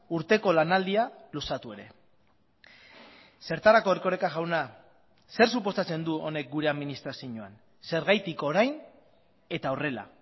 urteko lanaldia luzatu ere zertarako erkoreka jauna zer suposatzen du honek gure administrazioan zergatik orain eta horrela